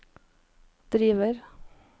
driver